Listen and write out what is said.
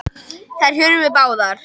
Þær hurfu báðar.